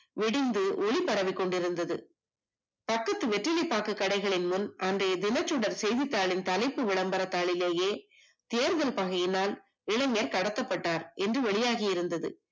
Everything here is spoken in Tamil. விடிந்து ஒளி பரவிக் கொண்டிருந்தது பக்கத்து வெற்றி வெற்றிலை பாக்கு கடைகளிலும் தினச்சுடர் தலைப்பு விளம்பர தாளிலேயே தேர்தல் பகையினால் இளைஞர் கடத்தப்பட்டார் என்று வெளியாகியிருந்தது